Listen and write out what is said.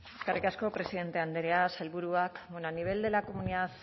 eskerrik asko presidente andrea sailburuak bueno a nivel de la comunidad